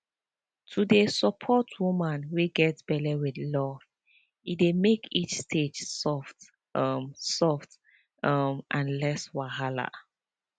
to dey support woman wey get belle with love e dey make each stage soft um soft um and less wahala